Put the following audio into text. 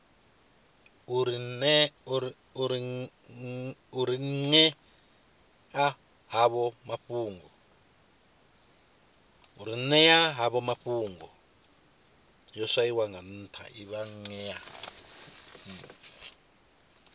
u ri ṅea havho mafhungo